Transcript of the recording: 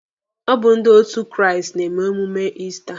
Ọ bụ ndị òtù Kraịst na-eme emume Ista.